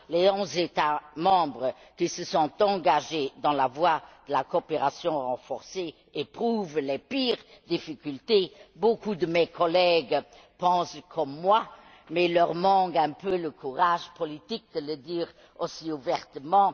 Les onze États membres qui se sont engagés dans la voie de la coopération renforcée éprouvent les pires difficultés. Beaucoup de mes collègues pensent comme moi, mais il leur manque un peu de courage politique pour le dire aussi ouvertement.